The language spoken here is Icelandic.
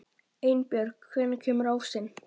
Einbjörg, hvenær kemur ásinn?